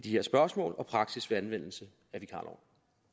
her spørgsmål og praksis ved anvendelse af vikarloven